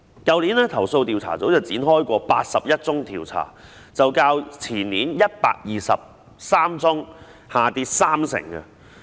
去年，投訴調查組展開了81宗調查，較前年的123宗下跌三成。